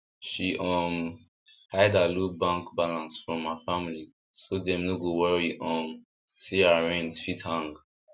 she um hide her low bank balance from her family so dem no go worry um say house rent fit hang